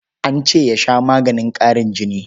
An ce ya sha maganin ƙarin jini.